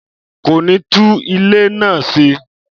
Kò ní tún ilé náà ṣe